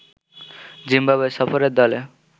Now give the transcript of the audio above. Zimbabwe সফরের দলে